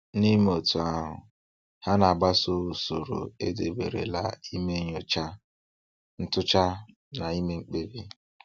N'ime otú ahụ, ha na-agbaso usoro edeberela ime nnyocha, ntụcha na ime mkpebi.